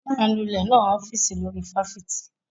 Anulẹ̀ náà ń ọ́fíìsì olórí fáfitì.